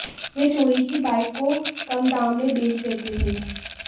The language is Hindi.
वे चोरी की बाईक को कम दाम में बेच देते थे